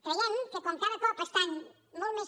creiem que com que cada cop estan molt més